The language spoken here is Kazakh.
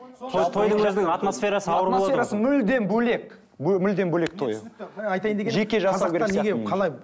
атмосферасы мүлдем бөлек мүлдем бөлек тойы